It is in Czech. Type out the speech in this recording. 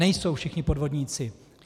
Nejsou všichni podvodníci.